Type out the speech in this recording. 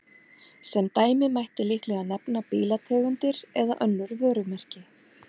Sem dæmi mætti líklega nefna bílategundir eða önnur vörumerki.